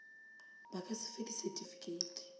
ba ka se fe disetifikeiti